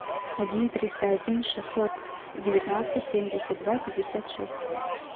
один триста один шестьсот девятнадцать семьдесят два пятьдесят шесть